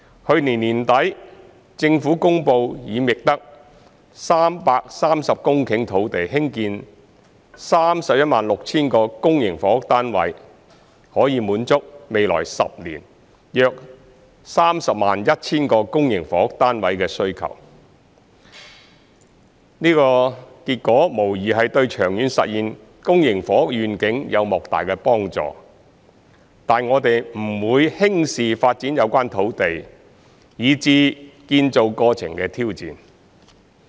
去年年底，政府公布已覓得330公頃土地興建 316,000 個公營房屋單位，可以滿足未來10年約 301,000 個公營房屋單位的需求，這個結果無疑對長遠實現公營房屋願景有莫大幫助，但我們不會輕視發展有關土地以至建造過程的挑戰。